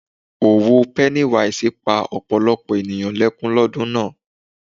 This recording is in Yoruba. Òwò pennywise pa ọ̀pọ̀lọpọ̀ ènìyàn lẹ́kún lọ́dún náà.